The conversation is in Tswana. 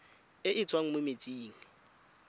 e e tswang mo metsing